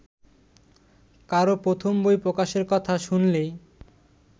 কারও প্রথম বই প্রকাশের কথা শুনলেই